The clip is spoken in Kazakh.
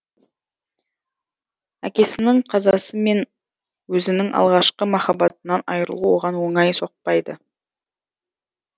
әкесінің қазасы мен өзінің алғашқы махаббатынан айырылу оған оңай соқпадйы